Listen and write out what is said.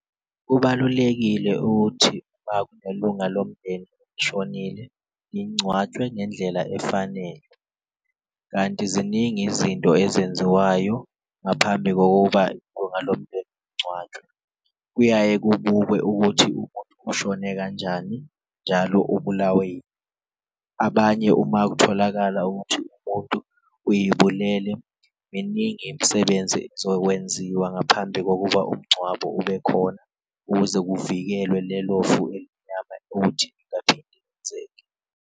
Kubalulekile ukuthi makunelunga lomndeni shonile lingcwatshwe ngendlela efanele, kanti ziningi izinto ezenziwayo ngaphambi kokuba ilunga lomndeni lingcwatshwe kuyaye kubukwe ukuthi umuntu ushone kanjani, njalo ubulawe yini. Abanye uma kutholakala ukuthi umuntu uyibulele miningi imisebenzi ezokwenziwa ngaphambi kokuba umngcwabo ube khona, ukuze kuvikelwe lelo fu elimnyama ukuthi lingaphinde lenzeke.